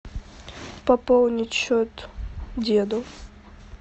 пополнить счет деду